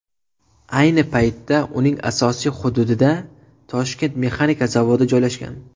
Ayni paytda uning asosiy hududida Toshkent mexanika zavodi joylashgan .